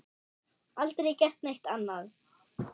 Aldrei gert neitt annað.